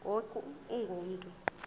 ngoku ungu mntu